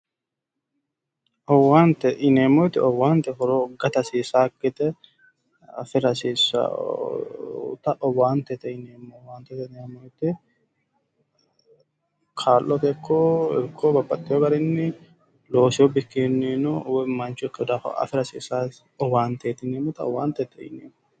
owaante yineemmoti owaante horo gata hasiisaakite afira hasiisawota owaante yineeneemmo woyte kaa'lote ikko babbaxewo garinni loosewo bikkinnino woy mancho ikkeewo daafo afira hasiissawosi owante yineemmota owaantete yineemmo.